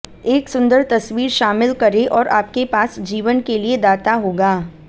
एक सुंदर तस्वीर शामिल करें और आपके पास जीवन के लिए दाता होगा